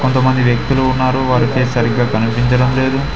కొంతమంది వ్యక్తులు ఉన్నారు వారి పేస్ సరిగ్గా కనిపించడం లేదు.